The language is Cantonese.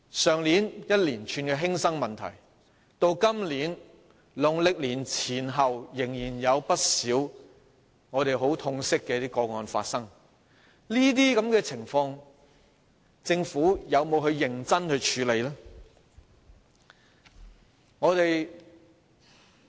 去年發生一連串的學生輕生的事件，到今年農曆年前後，仍然有不少令我們感到很痛心的個案發生，政府有否認真處理這些情況？